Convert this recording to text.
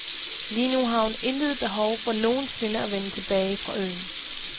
Lige nu har hun intet behov for nogen sinde at vende tilbage fra øen.